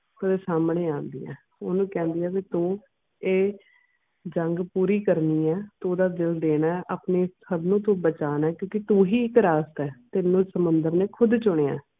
ਸਾਹਮਣੇ ਆਉਂਦੀ ਆ ਤੇ ਓਹਨੂੰ ਕਹਿੰਦੀ ਆ ਵੀ ਤੂੰ ਇਹ ਜੰਗ ਪੂਰੀ ਕਰਨੀ ਆ ਤੂੰ ਓਹਦਾ ਦਿਲ ਦੇਣਾ ਹੈ ਆਪਣੇ ਹਮਲੇ ਤੋਂ ਬਚਾਉਣਾ ਹੈ ਕਿਉਂਕਿ ਤੂੰ ਹੀ ਇੱਕ ਰਾਸਤਾ ਹੈ ਤੈਂਨੂੰ ਸਮੁੰਦਰ ਨੇ ਖੁਦ ਚੁਣਿਆ ਆ